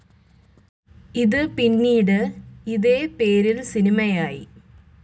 ഇത് പിന്നീട് ഇതേ പേരിൽ സിനിമയായി.